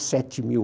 e sete mil?